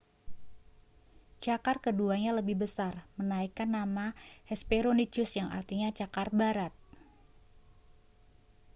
cakar keduanya lebih besar menaikkan nama hesperonychus yang artinya cakar barat